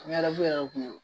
yɛrɛ kun don